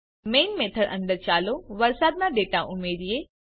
main method અંદર ચાલો વરસાદના ડેટા ઉમેરીએ